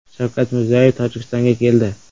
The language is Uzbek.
Shavkat Mirziyoyev Tojikistonga keldi.